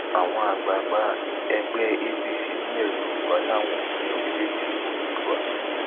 àwọn àgbààgbà ẹgbẹ apc nílẹ yorùbá làwọn ò fẹ orílẹèdè oòdua